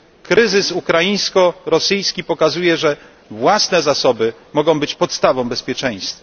Kryzys ukraińsko rosyjski pokazuje, że własne zasoby mogą być podstawą bezpieczeństwa.